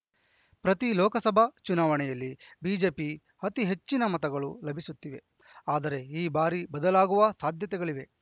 ಪ್ರತಿ ಲೋಕಸಭಾ ಚುನಾವಣೆಯಲ್ಲಿ ಬಿಜೆಪಿ ಅತಿ ಹೆಚ್ಚಿನ ಮತಗಳು ಲಭಿಸುತ್ತಿವೆ ಆದರೆ ಈ ಬಾರಿ ಬದಲಾಗುವ ಸಾಧ್ಯತೆಗಳಿವೆ